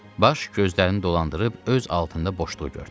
Baş gözlərini dolandırıb öz altında boşluq gördü.